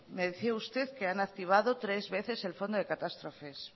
me decía usted que han activado tres veces el fondo de catástrofes